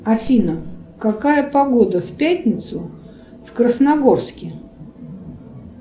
афина какая погода в пятницу в красногорске